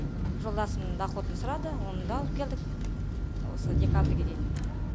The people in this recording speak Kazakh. жолдасымның доходын сұрады оны да алып келдік осы декабрьге дейін